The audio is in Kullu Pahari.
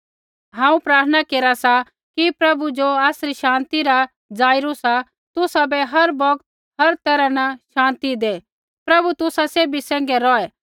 हांऊँ प्रार्थना केरा सा कि प्रभु ज़ो आसरी शान्ति रा स्रोता सा तुसाबै हर बौगत होर हर तैरहा न शान्ति दै प्रभु तुसा सैभी सैंघै रौहै